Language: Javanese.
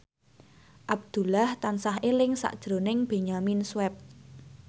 Abdullah tansah eling sakjroning Benyamin Sueb